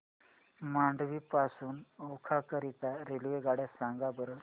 मांडवी पासून ओखा करीता रेल्वेगाड्या सांगा बरं